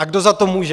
A kdo za to může?